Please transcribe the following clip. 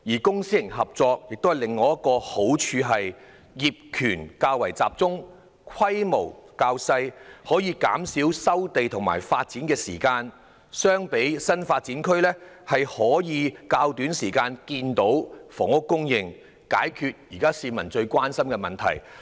公私營合作的好處是業權較集中，規模較小，可縮短收地及發展所需的時間，與新發展區相比，可以在較短時間內看到房屋供應，解決市民現時最關心的問題。